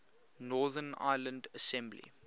northern ireland assembly